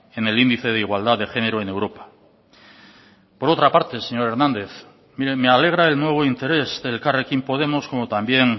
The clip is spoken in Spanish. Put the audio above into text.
en el índice de igualdad de género en europa por otra parte señor hernández mire me alegra el nuevo interés de elkarrekin podemos como también